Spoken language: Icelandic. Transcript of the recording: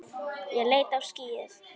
Ég leit á skýið.